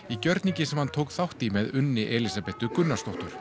í gjörningi sem hann tók þátt í með Unni Elísabetu Gunnarsdóttur